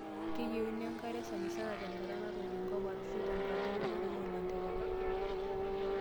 Keyieunoi enkare sanisana tenkata natoyio enkop arashu tenkata eunore oo lanterera.